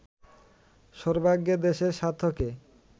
সর্বাগ্রে দেশের স্বার্থকে